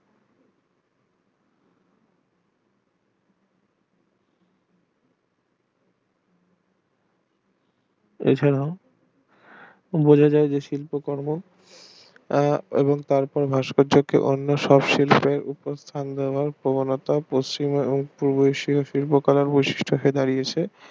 এছাড়া যোগাযোগের শিল্প কর্ম আহ তা ভাস্কর্যকে অন্য সব শিল্পের ওপর স্থান দেওয়ার প্রবণতা পশ্চিম ও পূর্ব এশিয়ার শিল্প কলার বৈশিষ্ট কে বাড়িয়াছে